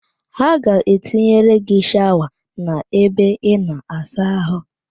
Ha ga-etinyere gị shawa n'ebe ịna-asa ahụ